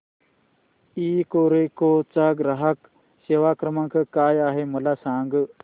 Ecoreco चा ग्राहक सेवा क्रमांक काय आहे मला सांग